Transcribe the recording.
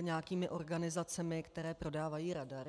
nějakými organizacemi, které prodávají radary.